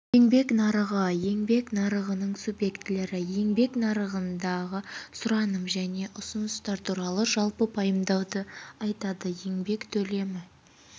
еңбек нарығы еңбек нарығының субъектілері еңбек нарығындағы сұраным мен ұсыныстар туралы жалпы пайымдауды айтады еңбек төлемі